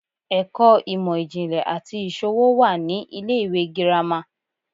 ẹkọ imọ-jinlẹ ati iṣowo wa ni ile-iwe gírama